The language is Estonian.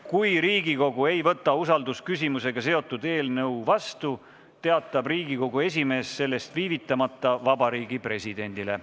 Kui Riigikogu ei võta usaldusküsimusega seotud eelnõu vastu, teatab Riigikogu esimees sellest viivitamata Vabariigi Presidendile.